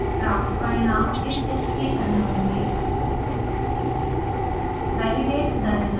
प्राप्त परिणाम इस चित्र की तरफ होंगे